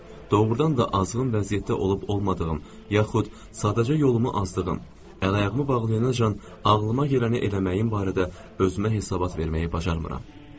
Doğrudan da azğın vəziyyətdə olub-olmadığım, yaxud sadəcə yolumu azdığım, əl-ayağımı bağlayancaq ağlıma gələni eləməyim barədə özümə hesabat verməyi bacarmıram.